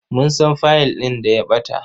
Mun san fayil ɗin da ya ɓata.